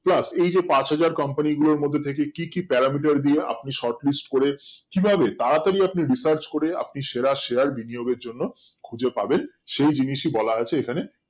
plus এই যে পাঁচ হাজার company গুলোর মধ্যে থেকে কি কি paramiter দিয়ে আপনি short list করে কিভাবে তাড়াতড়ি আপনি research করে আপনি সেরা share বিনিয়োমের জন্য খুঁজে পাবেন সেই জিনিসই বলা আছে এখানে